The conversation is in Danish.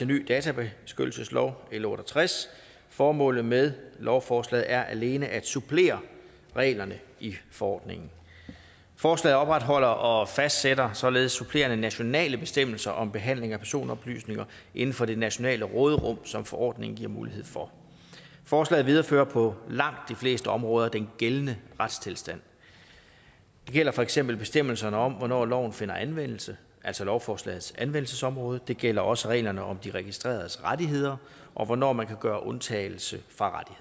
ny databeskyttelseslov l otte og tres formålet med lovforslaget er alene at supplere reglerne i forordningen forslaget opretholder og fastsætter således supplerende nationale bestemmelser om behandling af personoplysninger inden for det nationale råderum som forordningen giver mulighed for forslaget viderefører på langt de fleste områder den gældende retstilstand det gælder for eksempel bestemmelserne om hvornår loven finder anvendelse altså lovforslagets anvendelsesområde og det gælder også reglerne om de registreredes rettigheder og hvornår man kan gøre undtagelse fra